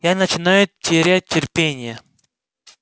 я начинаю терять терпение